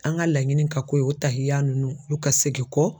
An ga laɲini ka k'o ye o tahiya nunnu olu ka segin kɔ